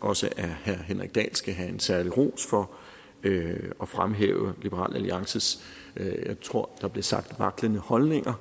også at herre henrik dahl skal have en særlig ros for at fremhæve liberal alliances jeg tror der blev sagt vaklende holdninger